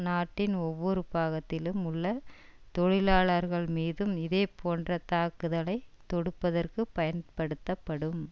நாட்டின் ஒவ்வொரு பாகத்திலும் உள்ள தொழிலாளர்கள் மீதும் இதேபோன்ற தாக்குதலை தொடுப்பதற்கு பயன்படுத்தப்படும்